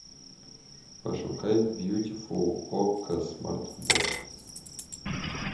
пошукай бьютифул окко смарт бокс